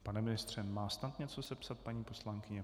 Pane ministře, má snad něco sepsat paní poslankyně?